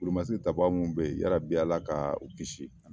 Wolomasiri tabaa minnu bɛ yen hali bi Ala ka u kisi